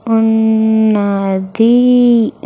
ఉన్నది.